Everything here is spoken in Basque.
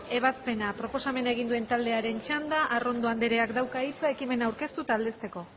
ebazpena proposamena egin duen taldearen txanda arrondo andereak dauka hitza ekimena aurkeztu eta aldezteko